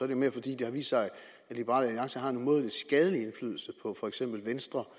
jo mere fordi det har vist sig at liberal alliance har en umådelig skadelig indflydelse på for eksempel venstre